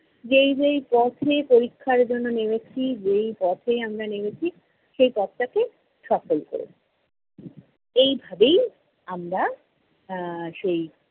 যেই যেই পথে পরীক্ষার জন্য নেমেছি, যেই পথে আমরা নেমেছি সেই পথটাকে সফল কোরো। এইভাবেই আমরা আহ সেই